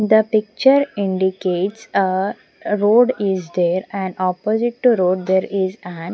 The picture indicates a road is there and opposite to road there is an --